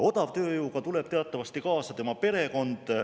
Odavtööjõuga tuleb teatavasti kaasa tema perekond.